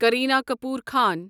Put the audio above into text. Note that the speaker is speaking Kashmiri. کرینا کپور خان